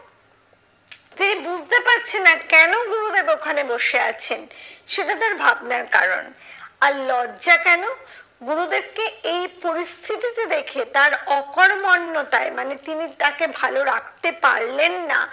তিনি বুঝতে পারছেন না কেন গুরুদেব ওখানে বসে আছেন? সেটা তার ভাবনার কারণ, আর লজ্জা কেন? গুরুদেবকে এই পরিস্থিতিতে দেখে তার অকর্মণ্যতায় মানে তিনি তাকে ভালো রাখতে পারলেন না,